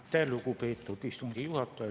Aitäh, lugupeetud istungi juhataja!